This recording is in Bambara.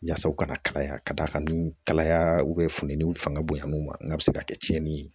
Yasa u kana kalaya ka d'a kan ni kalaya funteniw fanga bonyana u ma n'a bɛ se ka kɛ tiɲɛni ye